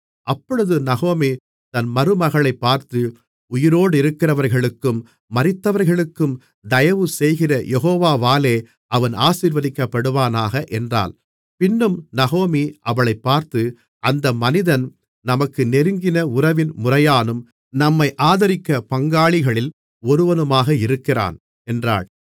அப்பொழுது நகோமி தன் மருமகளைப் பார்த்து உயிரோடிருக்கிறவர்களுக்கும் மரித்தவர்களுக்கும் தயவு செய்கிற யெகோவாவாலே அவன் ஆசீர்வதிக்கப்படுவானாக என்றாள் பின்னும் நகோமி அவளைப் பார்த்து அந்த மனிதன் நமக்கு நெருங்கின உறவின் முறையானும் நம்மை ஆதரிக்கிற பங்காளிகளில் ஒருவனுமாக இருக்கிறான் என்றாள்